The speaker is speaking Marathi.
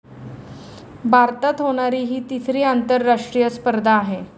भारतात होणारी ही तिसरी आंतरराष्ट्रीय स्पर्धा आहे.